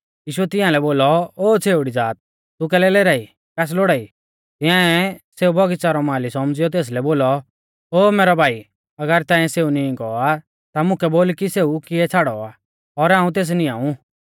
यीशुऐ तियांलै बोलौ ओ छ़ेउड़ी ज़ात तू कैलै लेराई कास लौड़ाई तिंआऐ सेऊ बौगिच़ा रौ माली सौमझ़िऔ तेसलै बोलौ ओ मैरौ भाई अगर ताइंऐ सेऊ नींई गौ आ ता मुकै बोल कि सेऊ किऐ छ़ाड़ौ आ और हाऊं तेस निआंऊ